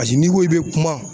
n'i ko i bɛ kuma